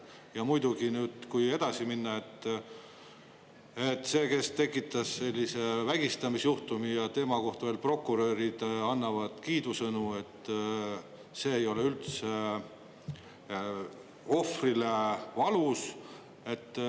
Ja muidugi, kui edasi minna, et see, kes tekitas sellise vägistamisjuhtumi, ja tema kohta veel prokurörid annavad kiidusõnu, et see ei ole üldse ohvrile valus.